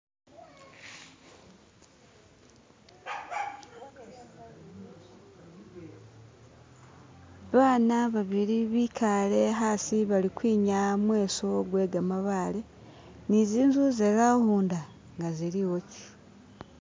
Baana babili bikale asi bali kwinaya mweso gwekamabale ne zinju za'rawunda nga ziliwoki.